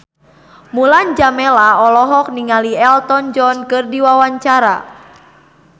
Mulan Jameela olohok ningali Elton John keur diwawancara